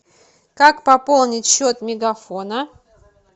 как пополнить счет мегафона